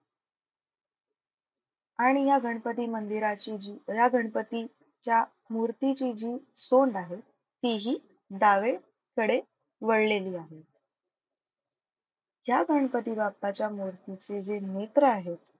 आणि या गणपती मंदिराची जी या गणपती च्या मूर्तीची जी सोंड आहे तीही डावे कडे वळलेली आहे. या गणपती बाप्पाच्या मूर्तीचे जे नेत्र आहेत,